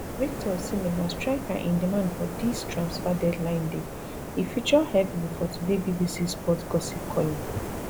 victor osimhen na striker in demand for dis transfer deadline day e feature heavily for today bbc sport gossip column